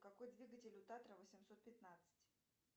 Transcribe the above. какой двигатель у татра восемьсот пятнадцать